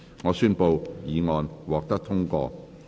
我宣布議案獲得通過。